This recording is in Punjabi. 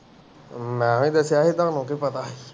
ਮੈਂ ਹੀ ਦੱਸਿਆ ਸੀ, ਤੁਹਾਨੂੰ ਕੀ ਪਤਾ।